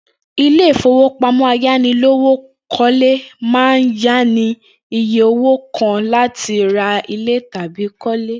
Ilé ìfowópamó̩ ayánilówókó̩le máa ń yá ni ní iye owó kan láti ra ilè̩ tàbí kó̩lé